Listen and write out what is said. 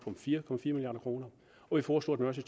fire milliard kroner vi foreslog at man også